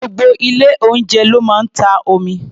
Gbogbo ilé-oúnjẹ ló máa ń ta omi.